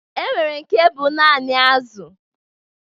E nwere nke bụ naanị azụ